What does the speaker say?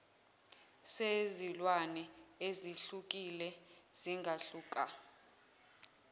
sezilwane ezehlukile zingahluka